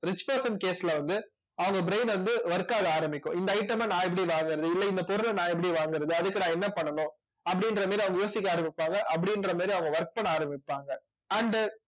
rich person case ல வந்து அவங்க brain வந்து work ஆக ஆரம்பிக்கும் இந்த item அ நான் எப்படி வாங்குறது இல்லை இந்த பொருளை நான் எப்படி வாங்குறது அதுக்கு நான் என்ன பண்ணணும் அப்படின்ற மாதிரி அவங்க யோசிக்க ஆரம்பிப்பாங்க அப்படின்ற மாதிரி அவங்க work பண்ண ஆரம்பிப்பாங்க and